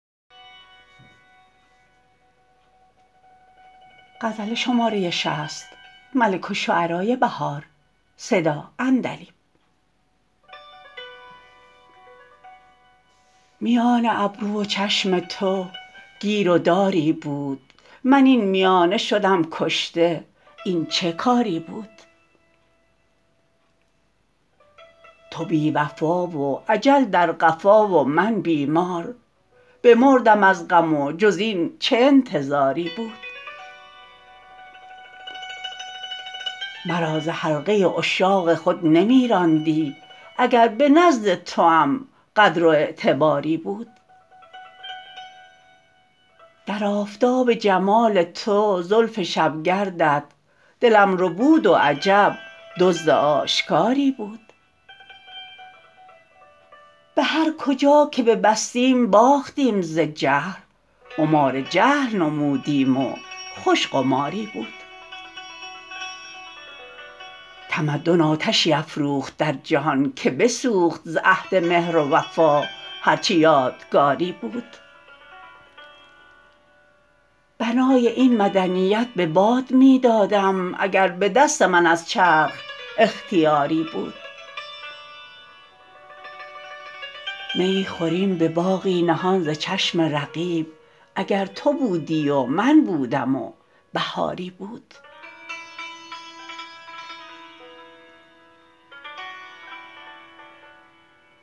میان ابرو و چشم تو گیر و داری بود من این میانه شدم کشته این چه کاری بود تو بی وفا و اجل در قفا و من بیمار بمردم از غم و جز این چه انتظاری بود مرا ز حلقه عشاق خود نمی راندی اگر به نزد توام قدر و اعتباری بود در آفتاب جمال تو زلف شبگردت دلم ربود و عجب دزد آشکاری بود به هر کجا که ببستیم باختیم ز جهل قمار جهل نمودیم و خوش قماری بود تمدن آتشی افروخت در جهان که بسوخت ز عهد مهر و وفا هرچه یادگاری بود بنای این مدنیت به باد می دادم اگر به دست من از چرخ اختیاری بود میی خوریم به باغی نهان ز چشم رقیب اگر تو بودی و من بودم و بهاری بود